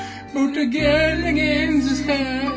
только идеальная женская